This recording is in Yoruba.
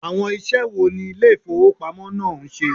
Awon ise wo ni ile ifowopamo naa n se?